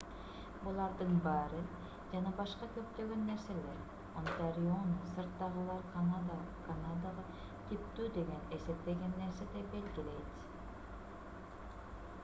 булардын баары жана башка көптөгөн нерселер онтариону сырттагылар канадага типтүү деп эсептеген нерседей белгилейт